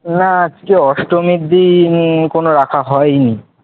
না আজকে অস্টমির দিন কোন রাখা হয়নি,